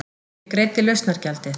Ég greiddi lausnargjaldið.